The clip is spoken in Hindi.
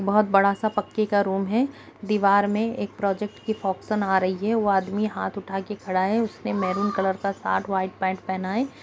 बहोत बड़ा सा पक्के का रूम है। दीवार में एक प्रोजेक्ट की आ रही है। वो आदमी हाथ उठा के खड़ा है। उसने महरूम कलर का शर्ट व्हाइट पैंट पहना है।